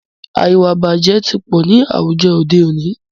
Ìwàìbàjẹ́ tí pọ̀ ní àwùjọ òde òní.